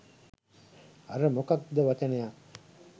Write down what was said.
අර මොකක්ද වචනයක්